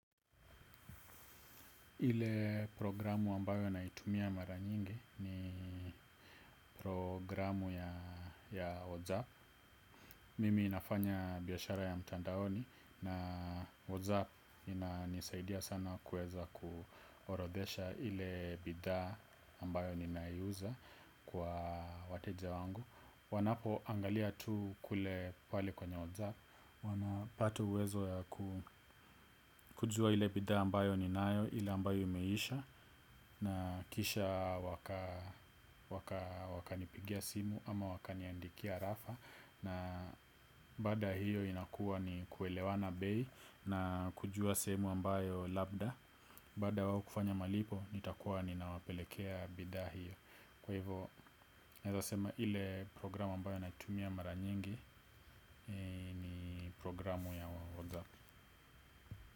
Ile programu ambayo naitumia mara nyingi ni programu ya WhatsApp. Mimi nafanya biashara ya mtandaoni na WhatsApp inanisaidia sana kuweza kuorodhesha ile bidhaa ambayo ninaiuza kwa wateja wangu. Wanapoangalia tu kule pale kwenye Whatsapp Wanapata uwezo ya kujua ile bidhaa ambayo ninayo. Ile ambayo imeisha. Na kisha wakanipigia simu ama wakaniandikia arafa. Na baada ya hiyo inakuwa ni kuelewana bei. Na kujua sehemu ambayo labda. Baada ya wao kufanya malipo, nitakuwa ninawapelekea bidhaa hiyo. Kwa hivyo, naweza sema ile programu ambayo naitumia mara nyingi ni programu ya Whatsapp.